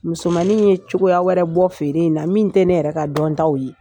Musomannin ye cogoya wɛrɛ bɔ feere in na, min tɛ ne yɛrɛ ka dɔntaw ye.